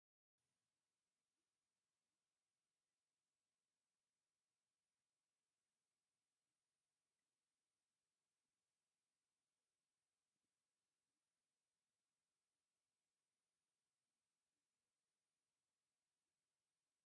እዚ ናይ ቢሮ ጥዕና ንኮረና ቫይረስ መተሓላለፊ መንገድታትን መከላከሊኡን ዝግበር ምፍላጥ እንትኾውን ንስኻትኹም እውን ከምዚ ዓይነት መፋለጥቲ ነገራት ብምንባብን ብምትግባርን ትጥቀሙ ዶ?